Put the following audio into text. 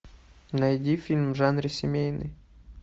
найди фильм в жанре семейный